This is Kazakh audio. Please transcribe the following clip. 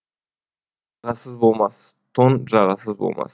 ағасыз болмас тон жағасыз болмас